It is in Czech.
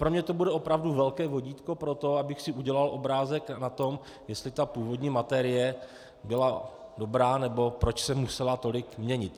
Pro mě to bude opravdu velké vodítko pro to, abych si udělal obrázek o tom, jestli ta původní materie byla dobrá nebo proč se musela tolik měnit.